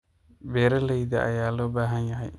Beeralayda ayaa loo baahan yahay.